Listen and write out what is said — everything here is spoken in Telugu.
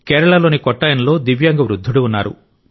కేరళలోని కొట్టాయంలో దివ్యాంగ వృద్ధుడు ఉన్నారు